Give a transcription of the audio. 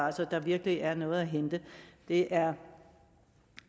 altså at der virkelig er noget at hente det er